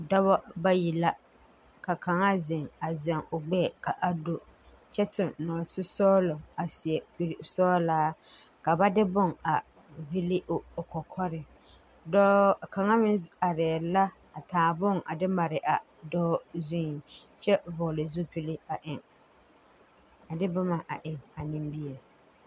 Dɔbɔ bayi la ka kaŋa zeŋ a zɛŋ o gbɛɛ ka a do kyɛ tuŋ nɔɔte sɔglɔ a seɛ kuresɔglaa ka ba de bon a ville o kɔkɔre dɔɔ kaŋa meŋ areɛɛ la a taa bon a de mare a dɔɔ zuiŋ kyɛ vɔɔle zupil a de bomma a eŋ a nimie.